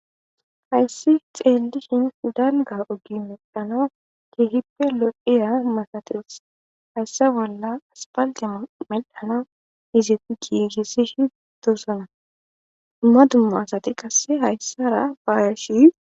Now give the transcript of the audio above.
Hayssi xeellishin hudalga ogi medhana kihippe lo'iya masatirs hayssa bolla aspaldea mel'dhana izetti giigissish dosana ma dumma asati qasse hayssara baaya shi.